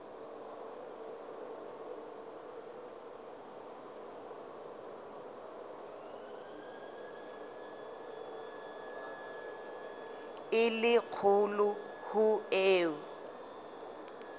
e le kgolo ho eo